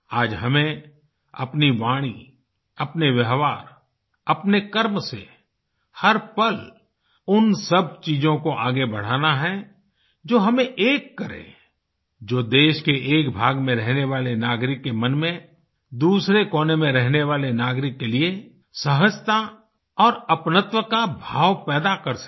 आज हमें अपनी वाणी अपने व्यवहार अपने कर्म से हर पल उन सब चीजों को आगे बढ़ाना है जो हमें एक करे जो देश के एक भाग में रहने वाले नागरिक के मन में दूसरे कोने में रहने वाले नागरिक के लिए सहजता और अपनत्व का भाव पैदा कर सके